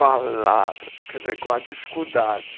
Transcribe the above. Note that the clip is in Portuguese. palavras, quer dizer, com a dificuldade.